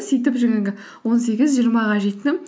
сөйтіп жаңағы он сегіз жиырмаға жеттім